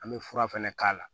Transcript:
An bɛ fura fɛnɛ k'a la